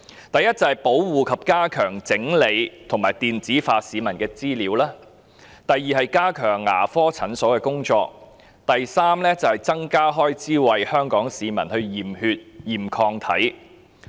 第一是保護、加強整理及電子化市民的資料；第二是加強牙科診所的工作；第三是增加開支為香港市民驗血和檢驗抗體。